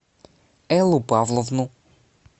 эллу павловну